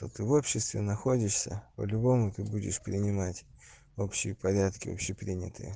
ты в обществе находишься по-любому ты будешь принимать общий порядки общепринятые